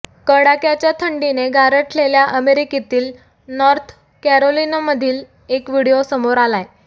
कडाक्याच्या थंडीने गारठलेल्या अमेरिकेतील नॉर्थ कॅरोलिनामधील एक व्हिडीओ समोर आलाय